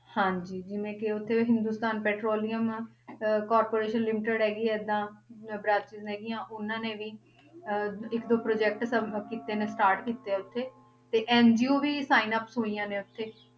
ਹਾਂਜੀ ਜਿਵੇਂ ਕਿ ਉੱਥੇ ਹਿੰਦੁਸਤਾਨ ਪੈਟਰੋਲੀਅਮ ਅਹ corporation limited ਹੈਗੀ ਏਦਾਂ ਅਹ branches ਹੈਗੀਆਂ ਉਹਨਾਂ ਨੇ ਵੀ ਅਹ ਇੱਕ ਦੋ ਸਬ ਕੀਤੇ ਨੇ start ਕੀਤੇ ਆ ਉੱਥੇ, ਤੇ NGO ਵੀ sign-ups ਹੋਈਆਂ ਨੇ ਉੱਥੇ